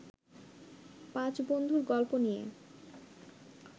পাঁচ বন্ধুর গল্প নিয়ে